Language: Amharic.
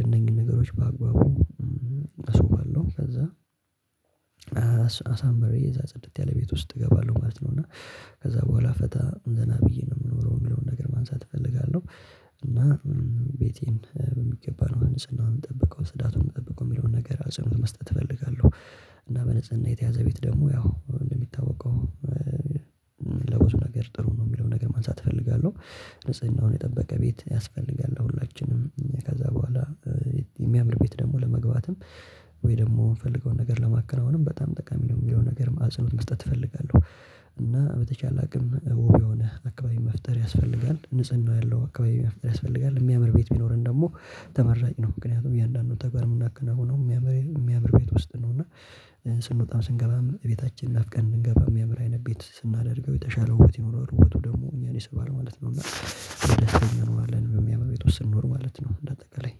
እነኚያኑ መጠበቂያዎች በአግባቡ እጠቀማለሁ ከዛ እያንዳንዱን እቃ በየቦታው ቦታ ቦታውን አስይዛለሁ እና አልጋዬ ካልተነጠፈ እነጥፋለሁ አንሶ ላይ ጨርቄ ከቆሸ አንሶላዬን አጥባለሁ ማጣብ ያለብኝ ነገር ብዬ ካሉ አሳምሬ እዛ ጽድት ያለ ቤት ውስጥ እገባለሁ ማለት ነው። እና ከዛ በኋላ ፈታ ዘና ብዬ ነው የምኖረው የሚለውን ነገር ማንሳት እፈልጋለሁ። እና ቤቴን በሚገባ ነው ንፁህናውን የምጠብቀው ፅዳቱን የምጠብቀው የሚለውን ነገር አጽንኦት መስጠት እፈልጋለሁ። እና በንጽህና የተያዘ ቤት ደግሞ ያው እንደሚታወቀው ለብዙ ነገር ጥሩ ነው የሚለውን ነገር ማንሳት እፈልጋለሁ። ንጽህናውን የጠበቀ ቤት ያስፈልጋል ለሁላችንም ከዛ በኋላ የሚያምር ቤት ደግሞ ለመግባትም ወይ ደግሞ የምንፈልገውን ነገር ለማከናወንም በጣም ጠቃሚ ነው። የሚለው ነገር አጽኖት መስጠት እፈልጋለሁ። እና በተቻለ አቅም ውብ የሆነ አካባቢ መፍጠር ያስፈልጋል ንጽህና ያለው አካባቢ መፍጠር ያስፈልጋል የሚያምር ቤት ቢኖረን ደግሞ ተመራጭ ነው። ምክንያቱም እያንዳንዱ ተግባር የምናከናውነው የሚያምር የሚያምር ቤት ውስጥ ነው። እና ስንወጣም ስንገባም ቤታችን ናፍቀን ብንገባ የሚያምር አይነት ቤት ስናደርገው የተሻለ ውበት ይኖረዋል ውበቱ ደግሞ እኛን ይስባል ማለት ነው። እና የምያምር አይነት ነገር ነው በሚያምር ቤት ውስጥ ስንኖር ማለት ነው። እንደ አጠቃላይ